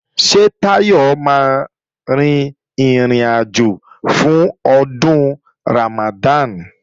Ṣé Táyọ̀ máa rin ìrìnàjò fún Ọdún Ramadan?